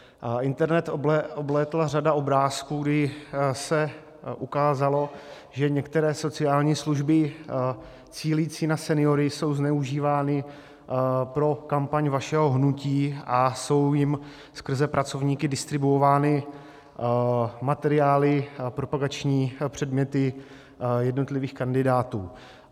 Internet oblétla řada obrázků, kdy se ukázalo, že některé sociální služby cílící na seniory jsou zneužívány pro kampaň vašeho hnutí a jsou jim skrze pracovníky distribuovány materiály a propagační předměty jednotlivých kandidátů.